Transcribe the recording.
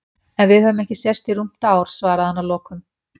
En við höfum ekki sést í rúmt ár, svaraði hann að lokum.